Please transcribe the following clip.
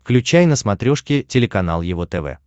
включай на смотрешке телеканал его тв